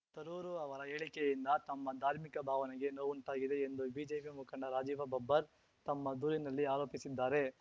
ತರೂರು ಅವರ ಹೇಳಿಕೆಯಿಂದ ತಮ್ಮ ಧಾರ್ಮಿಕ ಭಾವನೆಗೆ ನೋವುಂಟಾಗಿದೆ ಎಂದು ಬಿಜೆಪಿ ಮುಖಂಡ ರಾಜೀವ ಬಬ್ಬರ್ ತಮ್ಮ ದೂರಿನಲ್ಲಿ ಆರೋಪಿಸಿದ್ದಾರೆ